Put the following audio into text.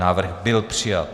Návrh byl přijat.